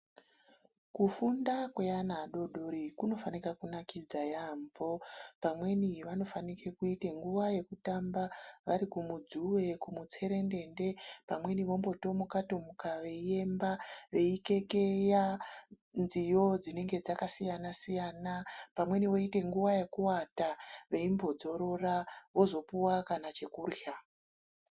Kufunda kweana adoodori kunofanike kunakidza yampho pamweni vanofanike kuite nguwa yekutamba vari kumudzuwe kumutserendende pamweni vombotomuka tomuka veiemba veikekeya nziyo dzinenge dzakasiyana siyana pamweni voite nguwa yekuwata veimbodzorora vozopuwa kana chekurya.